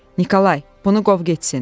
Nikolay, bunu qov getsin.